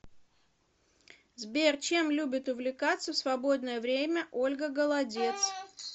сбер чем любит увлекаться в свободное время ольга голодец